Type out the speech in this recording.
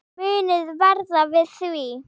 Muniði verða við því?